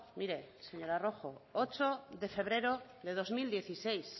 mire señora rojo ocho de febrero de dos mil dieciséis